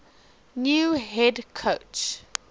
new head coach